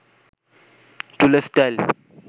চুলের স্টাইল